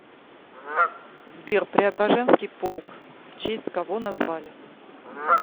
сбер преображенский полк в честь кого назвали